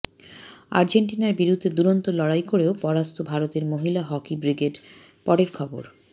আর্জেন্টিনার বিরুদ্ধে দুরন্ত লড়াই করেও পরাস্ত ভারতের মহিলা হকি ব্রিগেড পরের খবর